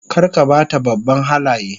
Kar ka ba ta babban Halaye